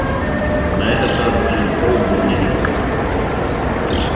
на этот раз джим холл был невиновен